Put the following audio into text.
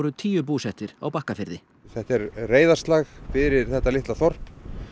tíu búsettir á Bakkafirði þetta er reiðarslag fyrir þetta litla þorp